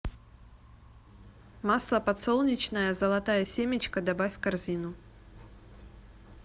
масло подсолнечное золотая семечка добавь в корзину